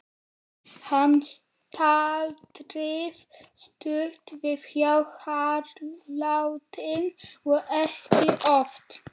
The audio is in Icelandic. Hann staldraði stutt við hjá Haraldi og ekki oft.